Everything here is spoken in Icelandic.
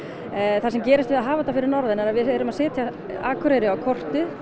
það sem gerist við að hafa þetta fyrir norðan er að við erum að setja Akureyri á kortið